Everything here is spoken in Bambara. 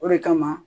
O de kama